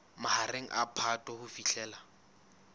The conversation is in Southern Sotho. mahareng a phato ho fihlela